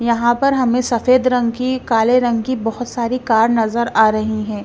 यहाँ पर हमें सफेद रंग की काले रंग की बहुत सारी कार नज़र आ रही हैं।